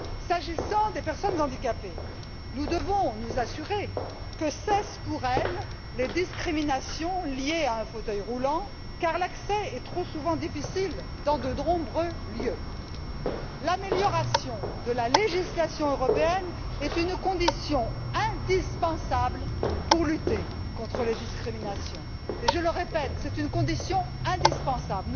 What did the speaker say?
S'agissant des personnes handicapées, nous devons nous assurer que cessent pour elles les discriminations liées à un fauteuil roulant car l'accès à de nombreux lieux est trop souvent difficile. L'amélioration de la législation européenne est une condition indispensable pour lutter contre les discriminations et je le répète c'est une condition indispensable.